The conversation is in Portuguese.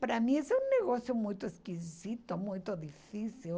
Para mim isso é um negócio muito esquisito, muito difícil.